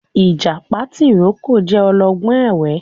Ìjàpá tìrókò jẹ ọlọ́gbọ́n ẹ̀wẹ́